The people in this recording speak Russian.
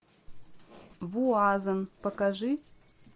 вуазен покажи